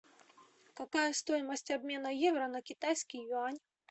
какая стоимость обмена евро на китайский юань